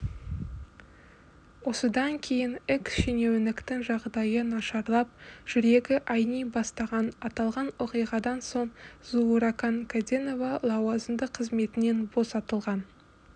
осыдан кейін экс-шенеуніктің жағдайы нашарлап жүрегі айни бастаған аталған оқиғадан соң зууракан кәденова лауазымды қызметінен босатылған